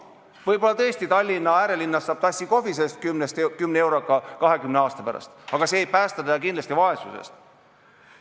Võib-olla tõesti Tallinna äärelinnas saab 20 aasta pärast tassi kohvi 10 euro eest, aga see ei päästa kindlasti vaesusest.